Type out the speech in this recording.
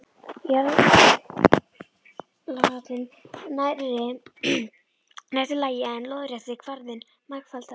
Jarðlagahalli nærri réttu lagi, en lóðrétti kvarðinn margfaldaður.